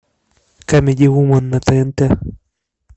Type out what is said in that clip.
камеди вумен на тнт